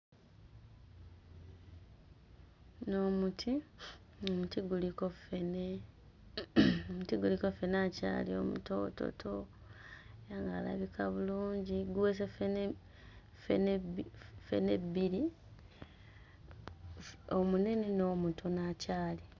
Guno muti, omuti guliko ffene mmh omuti guliko ffene akyali omutoototo ono alabika bulungi guweese ffene bbi ffene bbiri omunene n'omutono akyali.